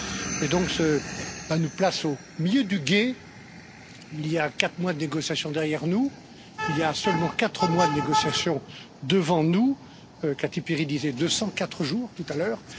Et donc cela nous place au milieu du gué il y a quatre mois de négociations derrière nous, il y a seulement quatre mois de négociations devant nous, Kati Piri disait 204 jours tout à l'heure.